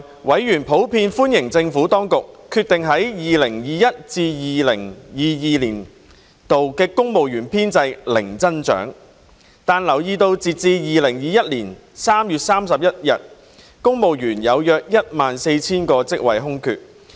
委員普遍歡迎政府當局決定於 2021-2022 年度公務員編制零增長，但留意到截至2021年3月31日，約有 14,000 個公務員職位空缺。